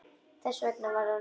Þess vegna var hann reiður.